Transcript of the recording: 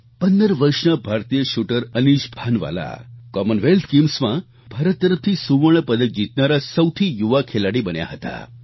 15 વર્ષના ભારતીય શૂટર અનિશ ભાનવાલા કોમનવેલ્થ ગેમ્સમાં ભારત તરફથી સુવર્ણ પદક જીતનારા સૌથી યુવા ખેલાડી બન્યા હતા